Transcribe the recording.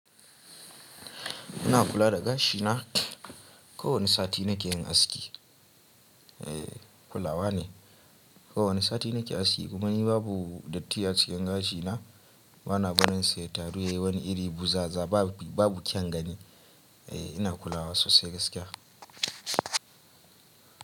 Ina kula da gashina ko wani sati ne ken aski, eh kula wane? Ko wani sati ne ki aski kuma ni babu dattii a cikin gashi na, bana barinsa ya taru yayi wani iri buzaza babu kyan gani, eh ina kulawa sosai gsky.